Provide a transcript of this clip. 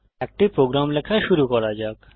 একটি প্রোগ্রাম লেখা শুরু করা যাক